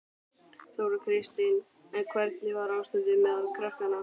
Þóra Kristín: En hvernig var ástandið meðal krakkanna?